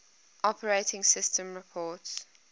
operating systems report